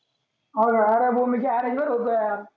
हाव का आरे garage वर होतो यार.